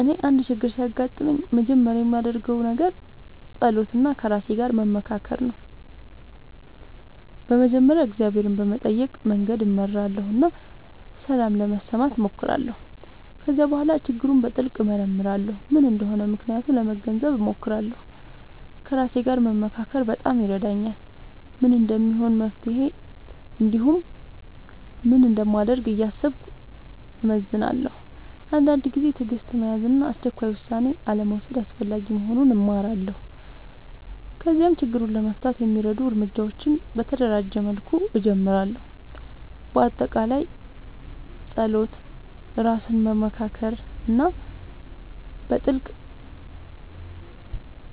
እኔ አንድ ችግር ሲያጋጥምኝ መጀመሪያ የማደርገው ነገር መጸሎት እና ከራሴ ጋር መመካከር ነው። በመጀመሪያ እግዚአብሔርን በመጠየቅ መንገድ እመራለሁ እና ሰላም ለመስማት እሞክራለሁ። ከዚያ በኋላ ችግሩን በጥልቅ እመርመራለሁ፤ ምን እንደሆነ ምክንያቱን ለመገንዘብ እሞክራለሁ። ከራሴ ጋር መመካከር በጣም ይረዳኛል፤ ምን እንደሚሆን መፍትሄ እንዲሁም ምን እንደማደርግ እያሰብኩ እመዝናለሁ። አንዳንድ ጊዜ ትዕግሥት መያዝ እና አስቸኳይ ውሳኔ አልመውሰድ አስፈላጊ መሆኑን እማራለሁ። ከዚያም ችግሩን ለመፍታት የሚረዱ እርምጃዎችን በተደራጀ መልኩ እጀምራለሁ። በአጠቃላይ መጸሎት፣ ራስን መመካከር እና በጥልቅ